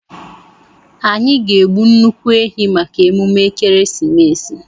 Anyị ga-egbu nnukwu ehi maka emume ekeresimesi.